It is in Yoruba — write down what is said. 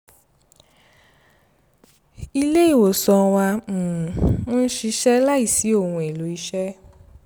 ilé ìwòsàn wá ń um ṣiṣẹ́ láìsí ohun-èlò iṣẹ́